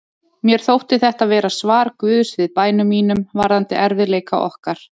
Mér þótti þetta vera svar Guðs við bænum mínum varðandi erfiðleika okkar.